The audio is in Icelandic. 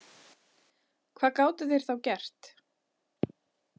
Hvað gátu þeir þá gert?